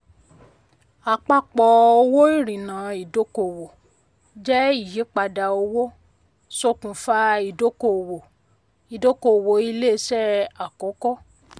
àpapọ̀ owó ìrìnà ìdọ́kowọ̀ jẹ́ ìyípadà owó ṣokunfa ìdọ́kowọ̀ ìdọ́kowọ̀ ilé iṣé àkókò.